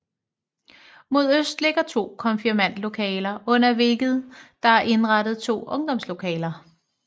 Mod øst ligger to konfirmandlokaler under hvilke der er indrettet to ungdomslokaler